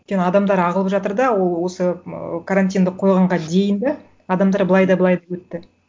өйткені адамдар ағылып жатыр да ол осы ыыы карантинды қойғанға дейін де адамдар былай да былай да өтті